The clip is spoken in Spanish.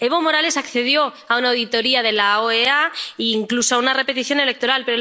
Evo Morales accedió a una auditoría de la OEA, incluso a una repetición electoral.